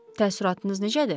Təəssüratınız necədir?